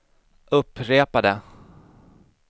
upprepade